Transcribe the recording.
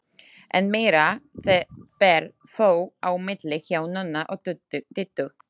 Enn meira ber þó á milli hjá Nonna og Diddu.